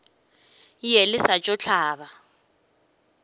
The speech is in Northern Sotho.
ye le sa tšo hlaba